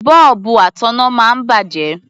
Bọ́ọ̀bù ataná máa ń bàjẹ́.